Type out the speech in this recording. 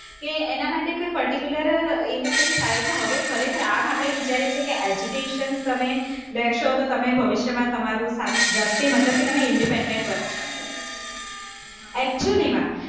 કે એના માટે કોઈ particular એવો કઈ, એટલે હવે ખરેખર આમ આપણે વિચારીએ છીએ કે education તમે લેશો તો તમે ભવિષ્યમાં તમારું જાતે મતલબ કે તમે independent બની શકશો actually માં